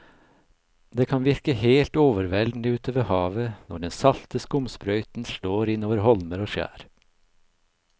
Det kan virke helt overveldende ute ved havet når den salte skumsprøyten slår innover holmer og skjær.